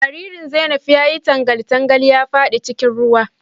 Jaririn Zainab ya yi tangal tangal ya fada cikin ruwa.